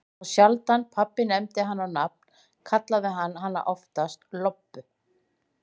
En þá sjaldan pabbi nefndi hana á nafn, kallaði hann hana oftast Lobbu.